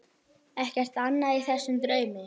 Ekkert annað í þessum draumi.